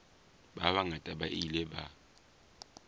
ba bangata ba ile ba